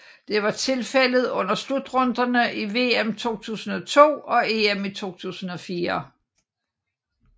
Det var tilfældet under slutrunderne i VM 2002 og EM 2004